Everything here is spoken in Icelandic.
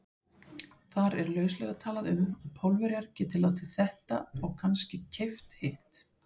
Þar er lauslega talað um, að Pólverjar geti látið þetta og kannske keypt hitt.